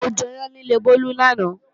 Mo jẹyán níle Bólú lánàá